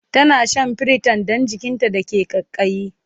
tana Shan priton Dan jikinta da ke kaikayi